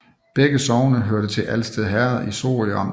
Begge sogne hørte til Alsted Herred i Sorø Amt